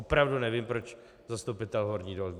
Opravdu nevím, proč zastupitel Horní Dolní.